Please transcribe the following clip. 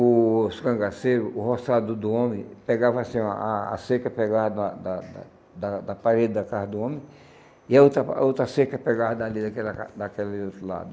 O os cangaceiro, o roçado do homem, pegava assim, a a seca pegava da da da da da parede da casa do homem e a outra a outra seca pegava dali daquela daquele outro lado.